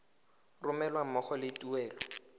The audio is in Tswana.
romelwa ga mmogo le tuelo